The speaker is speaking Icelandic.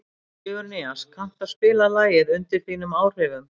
Sigurnýas, kanntu að spila lagið „Undir þínum áhrifum“?